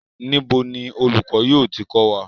Níbi ni olùkọ́ yóò ti kò wa?